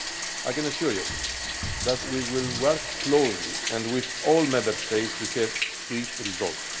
I can assure you that we will work closely and with all Member States to have swift results.